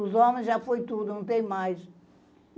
Os homens, já foi tudo, não tem mais.